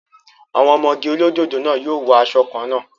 Àwọn ọmọge olódòdó náà yóò wọ asọ kan náà